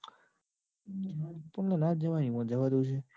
ના જ જવાય ને એમાં જવાતું હશે?